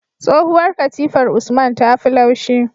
Tsohuwar katifar usman tafi laushi